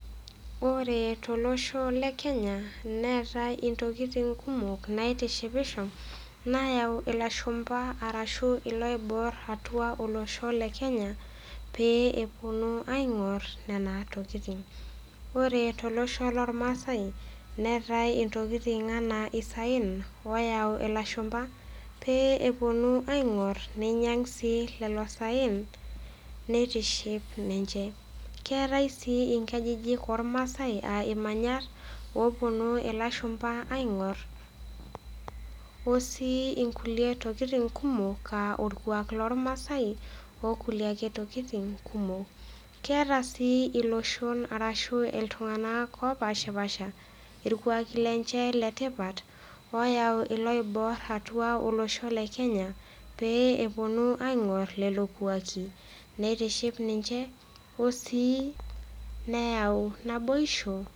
Ore tolosho le Kenya neetai intokitin kumok naitishipisho naayau ilashumba arashu iloiboorr atua olosho le kenya pee epuonu aing'orr nena tokitin. Ore tolosho lormasai neetai intokitin anaa isaen oyau ilashumba pee epuonu aing'orr neinyang' sii lelo saen neitiship ninche. Keetai sii inkajijik ormaasai aa imanyat opuonu ilashumba aing'orr o sii inkulie tokitin kumok aa orkwaak lormasai okulie ake tokitin kumok. Keeta sii iloshon arashu iltung'anak opashipaasha ilkwaaki lenche le tipat ooyau iloiboorr atua olosho le kenya pee epuonu aing'orr lelo kwaaki neitiship ninche o sii neyau naboisho.